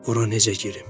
Ora necə girim.